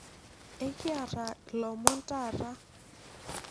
ekiata ilom tata